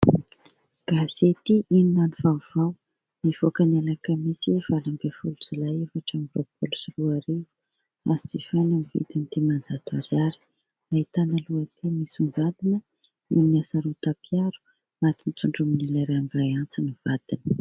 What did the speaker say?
Gazety Inona no Vaovao, nivoaka ny Alakamisy valo ambin'ny folo jolay efatra amby roapaolo sy roa arivo, azo jifaina amin'ny vidiny dimanjato ariary ; nahitana lohateny misomgadina : NOHO NY HASAROTAM-PIARO : Maty notsondronin'ilay rangahy antsy ny vadiny.